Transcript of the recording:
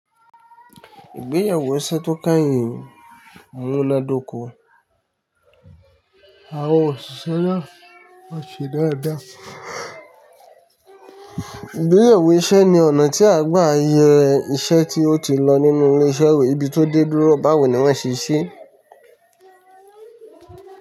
Ìgbéyàwó iṣẹ́ tó káye, àwọn oládoko, àwọn òṣìṣẹ́ yá, wọ́n ti dáa dá. Ìgbéyẹ̀wó iṣẹ́ ni ọ̀nà tí a gbà iye iṣẹ́ tí ó ti lọ nínú ilé-iṣẹ́ ìwé bí tó dé dúró báwoni wọ́n ṣe ṣíṣe.